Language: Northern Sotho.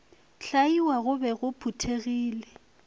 hlaiwa go be go phuthegile